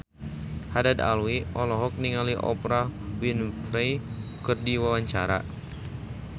Haddad Alwi olohok ningali Oprah Winfrey keur diwawancara